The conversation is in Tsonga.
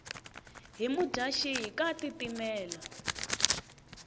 hi mudyaxihi ka tiitimela